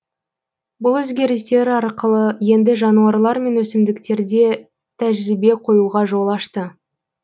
бұл өзгерістер арқылы енді жануарлар мен өсімдіктерде тәжірбие қоюға жол ашты